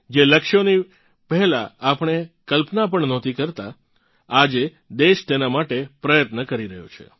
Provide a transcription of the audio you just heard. જે લક્ષ્યોની પહેલાં આપણે કલ્પના પણ નહોતી કરતાં આજે દેશ તેનાં માટે પ્રયત્ન કરી રહ્યો છે